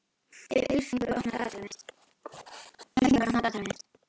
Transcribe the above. Ylfingur, opnaðu dagatalið mitt.